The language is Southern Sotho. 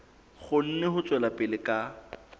kgone ho tswela pele ka